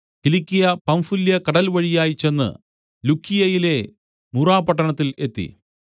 കിലിക്യ Pamphylia കടൽവഴിയായി ചെന്ന് ലുക്കിയയിലെ മുറാപ്പട്ടണത്തിൽ എത്തി